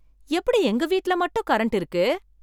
எப்படி எங்க வீட்ல மட்டும் கரண்ட் இருக்கு!